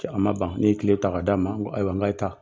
A ma ban ne ye kile ta ka d'a ma n ko ayiwa n k'a' ye taa